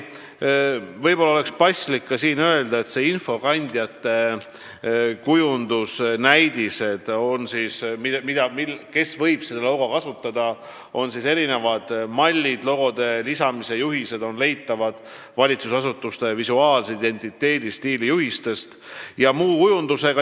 Võib-olla on siin paslik ka öelda, et kasutajatele mõeldud kujundusnäidised ja infokandjatele logode lisamise juhised on leitavad valitsusasutuste visuaalse identiteedi stiilijuhisest.